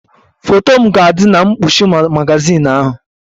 Foto m ga-adị na mkpuchi magazin ahụ.